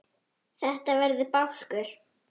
Þetta verði bálkur.